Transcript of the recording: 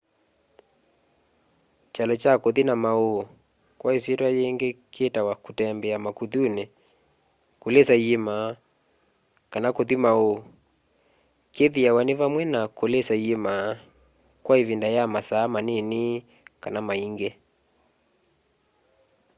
kyalo kya kũthi na maũũ kwa ĩsyĩtwa yĩingĩ kĩĩtawa kũtembea makuthunĩ” kũlĩsa iĩma” kana kũthi maũũ” kĩthĩawa nĩ vamwe na kũlĩsa iĩma kwa ĩvinda ya masaa manini kana maingĩ